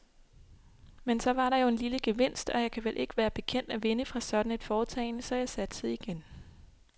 Men så var der jo en lille gevinst, og jeg kan vel ikke være bekendt at vinde fra sådan et foretagende, så jeg satsede igen.